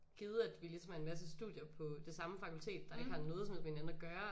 Givet at vi ligesom er en masse studier på det samme fakultet der ikke har noget som helst med hinanden at gøre